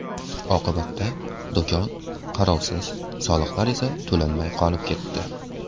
Oqibatda do‘kon qarovsiz, soliqlar esa to‘lanmay qolib ketdi.